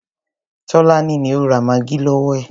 Tọ́lání ni ó ra maggi lọwọ ẹ.